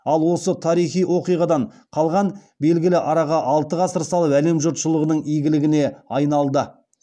ал осы тарихи оқиғадан қалған белгі араға алты ғасыр салып әлем жұртшылығының игілігіне айналды